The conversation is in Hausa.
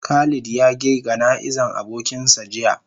Khalid ya ge gana'iza abokin sa jiya.